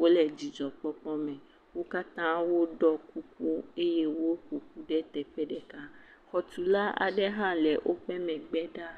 Wòle dzidzɔ kpɔkpɔ me. Wo katã wò ɖo kuku eye woƒoƒu ɖe teƒe ɖeka. Xɔ tula ɖe hã le wòƒe megbe ɖa.a